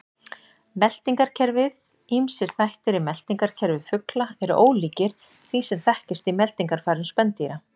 Meltingarkerfið Ýmsir þættir í meltingarkerfi fugla eru ólíkir því sem þekkist í meltingarfærum spendýra.